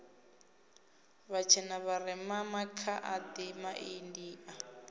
vhatshena vharema makha adi maindia